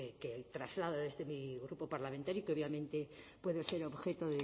que traslado desde mi grupo parlamentario y que obviamente puede ser objeto